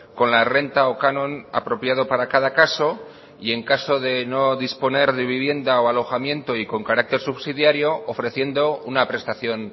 con la renta o canon apropiado para cada caso y en caso de no disponer de vivienda o alojamiento y con carácter subsidiario ofreciendo una prestación